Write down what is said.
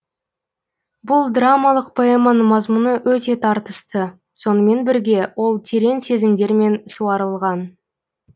бұл драмалық поэманың мазмұны өте тартысты сонымен бірге ол терең сезімдермен суарылған